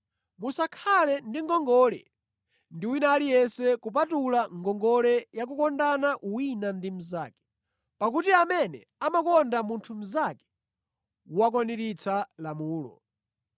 Musakhale ndi ngongole ndi wina aliyense kupatula ngongole ya kukondana wina ndi mnzake. Pakuti amene amakonda munthu mnzake wakwaniritsa lamulo.